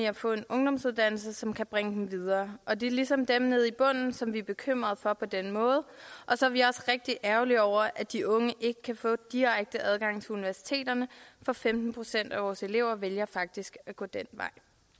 at få en ungdomsuddannelse som kan bringe dem videre og det er ligesom dem nede i bunden som vi er bekymrede for på den måde og så er vi også rigtig ærgerlige over at de unge ikke kan få direkte adgang til universiteterne for femten procent af vores elever vælger faktisk at gå den vej